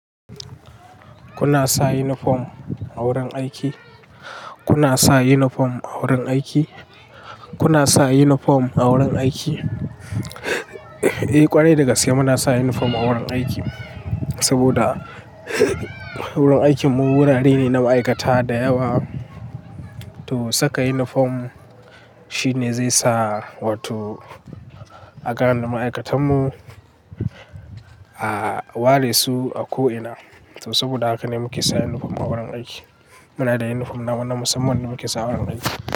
Kuna sa uniform a wurin aiki? Kuna sa yunifom a wurin aiki? Kuna sa yunifom a wurin aiki? Eh ƙwarai dagaske muna sa uniform a wurin aiki. Saboda wurin aikin mu wurare ne na ma'aikata da yawa, to saka uniform shine zai sa wato a gane ma'aikatan mu a ware su a ko'ina. To saboda haka ne muke sa uniform a wurin aiki. Muna da uniform nawa na musamman da muke sawa a wurin aiki.